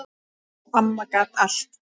Amma gat allt.